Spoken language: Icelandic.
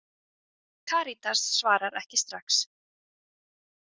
Karítas svarar ekki strax.